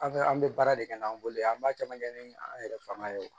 An bɛ an bɛ baara de kɛ n'an bolo ye an b'a caman kɛ ni an yɛrɛ fanga ye